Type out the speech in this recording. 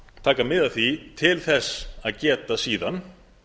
taka mið af því til þess að geta síðan